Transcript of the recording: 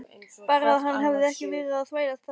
Bara að hann hefði ekki verið að þvælast þetta.